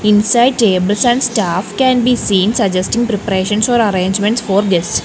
inside tables and staff can be seen suggesting preparations or arrangements for guest.